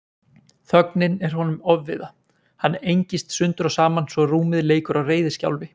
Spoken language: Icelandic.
Þögnin er honum ofviða, hann engist sundur og saman svo rúmið leikur á reiðiskjálfi.